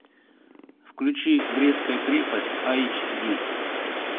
включи брестская крепость айч ди